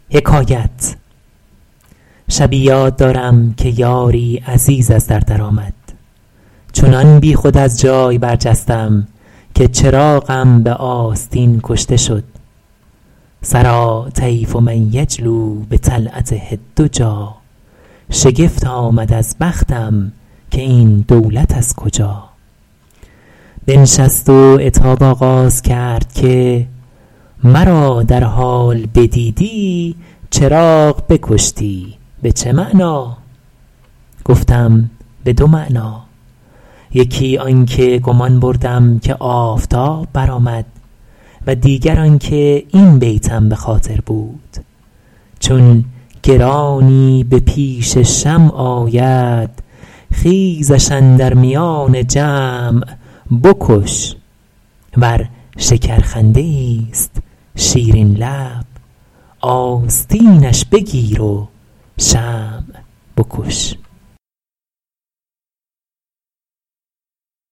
شبی یاد دارم که یاری عزیز از در در آمد چنان بیخود از جای برجستم که چراغم به آستین کشته شد سریٰ طیف من یجلو بطلعته الدجیٰ شگفت آمد از بختم که این دولت از کجا بنشست و عتاب آغاز کرد که مرا در حال بدیدی چراغ بکشتی به چه معنی گفتم به دو معنی یکی آن که گمان بردم که آفتاب برآمد و دیگر آن که این بیتم به خاطر بود چون گرانی به پیش شمع آید خیزش اندر میان جمع بکش ور شکرخنده ایست شیرین لب آستینش بگیر و شمع بکش